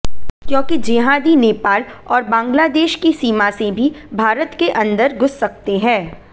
क्योंकि जेहादी नेपाल और बांग्लादेश की सीमा से भी भारत के अंदर घुस सकते हैं